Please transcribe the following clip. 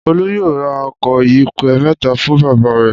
Olú yóò ra ọkọ̀ ìyẹ̀pẹ̀ mẹ́ta fún bàbá rẹ̀!